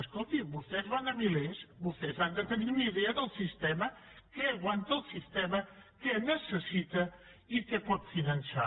escolti vostès van a milers vostès han de tenir una idea del sistema què aguanta el sistema què necessita i què pot finançar